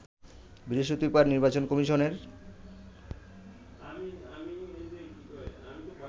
বৃহস্পতিবার নির্বাচন কমিশনের